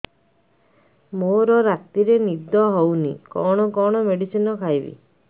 ମୋର ରାତିରେ ନିଦ ହଉନି କଣ କଣ ମେଡିସିନ ଖାଇବି